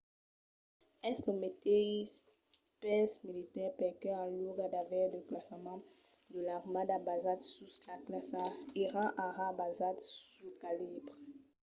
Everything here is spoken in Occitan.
es lo meteis pels militars perque en luòga d'aver de classaments de l'armada basats sus la classa èran ara basats sul calibre